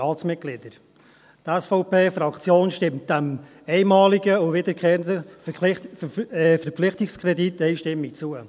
Die SVP-Fraktion stimmt dem einmaligen und dem Verpflichtungskredit einstimmig zu.